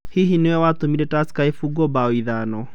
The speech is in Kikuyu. Hihi nĩwe watũmire Tursker ĩfungwo mbao ithano?"